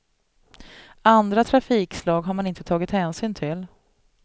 Andra trafikslag har man inte tagit hänsyn till.